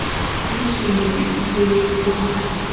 включи мне фильм девушка из монако